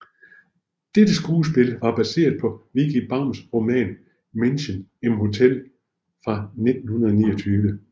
Dette skuespil var baseret på Vicki Baums roman Menschen im Hotel fra 1929